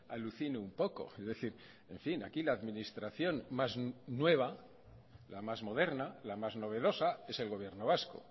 alucino un poco es decir en fin aquí la administración más nueva la más moderna la más novedosa es el gobierno vasco